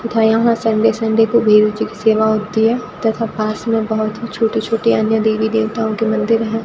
तथा यहां Sunday Sunday को भेरु जी की सेवा होती है तथा पास में बहुत ही छोटी छोटी अन्य देवी देवताओं के मंदिर हैं।